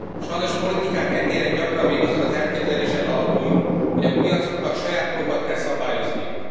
Sajnos politikánk e téren gyakran még azon az elképzelésen alapul, hogy a piacoknak saját magukat kell szabályozniuk.